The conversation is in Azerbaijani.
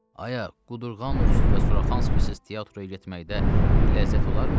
Aya, qudurğanovsuz və Suraxanskisiz teatra getməkdə bir ləzzət olarmı?